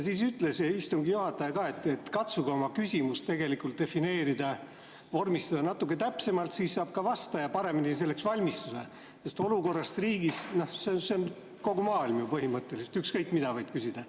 Siis ütles istungi juhataja, et katsuge oma küsimus vormistada natuke täpsemalt, siis saab ka vastaja selleks paremini valmistuda, sest "Olukord riigis" on ju kogu maailm põhimõtteliselt, ükskõik mida võid küsida.